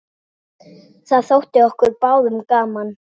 Það þótti okkur báðum gaman.